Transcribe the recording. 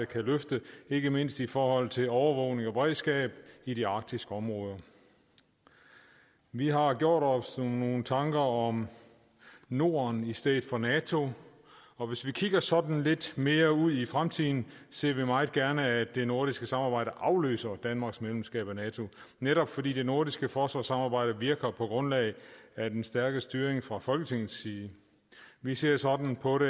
kan løfte ikke mindst i forhold til overvågning og beredskab i de arktiske områder vi har gjort os nogle tanker om norden i stedet for nato og hvis vi kigger sådan lidt mere ud i fremtiden ser vi meget gerne at det nordiske samarbejde afløser danmarks medlemskab af nato netop fordi det nordiske forsvarssamarbejde virker på grundlag af den stærke styring fra folketingets side vi ser sådan på det